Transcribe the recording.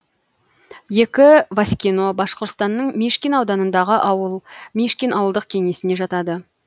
ескі васькино башқұртстанның мишкин ауданындағы ауыл мишкин ауылдық кеңесіне жатады